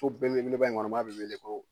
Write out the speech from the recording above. So belebeleba in kɔnɔ n'a bɛ wele ko